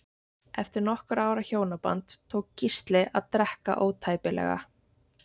Eftir nokkurra ára hjónaband tók Gísli að drekka ótæpilega.